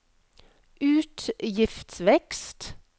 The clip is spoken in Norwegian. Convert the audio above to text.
utgiftsvekst